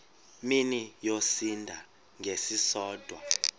mini yosinda ngesisodwa